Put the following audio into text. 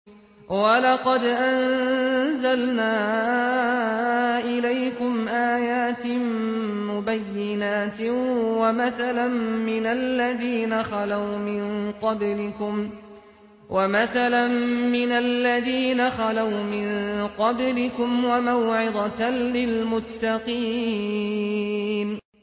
وَلَقَدْ أَنزَلْنَا إِلَيْكُمْ آيَاتٍ مُّبَيِّنَاتٍ وَمَثَلًا مِّنَ الَّذِينَ خَلَوْا مِن قَبْلِكُمْ وَمَوْعِظَةً لِّلْمُتَّقِينَ